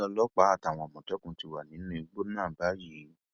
ó ní ọlọpàá àtàwọn àmọtẹkùn ti wà nínú igbó náà báyìí